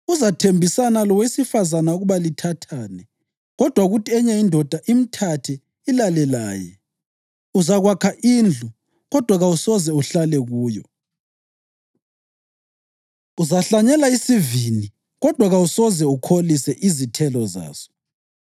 Uzathembisana lowesifazane ukuba lithathane, kodwa kuthi enye indoda imthathe ilale laye. Uzakwakha indlu, kodwa kawusoze uhlale kuyo. Uzahlanyela isivini, kodwa kawusoze ukholise izithelo zaso.